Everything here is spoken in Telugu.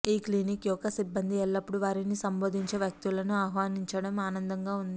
ఈ క్లినిక్ యొక్క సిబ్బంది ఎల్లప్పుడూ వారిని సంబోధించే వ్యక్తులను ఆహ్వానించడం ఆనందంగా ఉంది